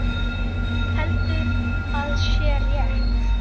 Heldur að sé rétt.